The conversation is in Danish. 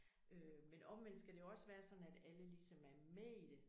Øh men omvendt skal det jo også være sådan at alle ligesom er med i det